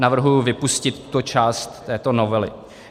Navrhuji vypustit tu část této novely.